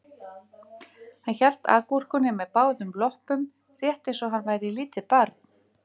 Hann hélt agúrkunni með báðum loppum rétt eins og hann væri lítið barn